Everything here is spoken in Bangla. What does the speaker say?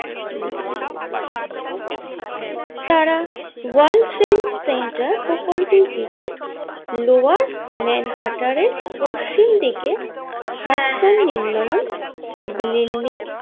দিয়েছিলেন তারা ওয়ার্ল্ড ট্রেড সেন্টার প্রকল্পটিকে লোয়ার ম্যানহারটারের পশ্চিম দিকে হার্টসন নির্মাণন বিল্ডিং।